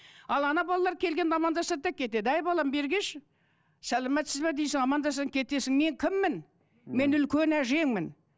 ал балалар келгенде амандасады да кетеді әй балам бері келші сәлеметсіз бе дейсің амандаса кетесің мен кіммін мен үлкен әжеңмін